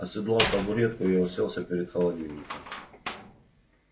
оседлав табуретку я уселся перед холодильником